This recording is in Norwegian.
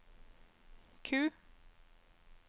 Q